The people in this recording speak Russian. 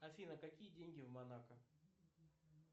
афина какие деньги в монако